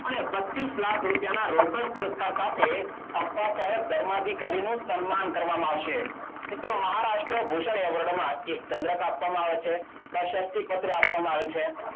અને પચ્ચીસ લાખના રોકડ પુરસ્કાર સાથે અપ્પા સાહેબ ધર્માધિકારીનું સન્માન કરવામાં આવશે. મિત્રો મહારાષ્ટ્ર ભૂષણ એવોર્ડમાં એક ચંદ્રક આપવામાં આવે છે. પ્રશસ્તિ પત્ર આપવામાં આવે છે.